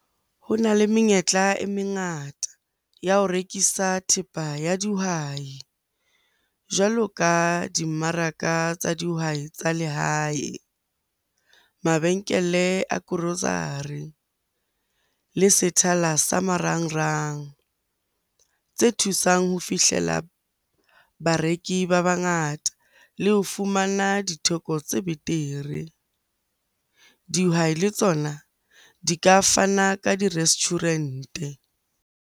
Ho na le menyetla e mengata ya ho rekisa thepa ya dihwai jwalo ka dimmaraka tsa dihwai tsa lehae, mabenkele a grocery le sethala sa marangrang tse thusang ho fihlela bareki ba bangata le ho fumana ditheko tse betere. Dihwai le tsona di ka fana ka di-restaurant-e.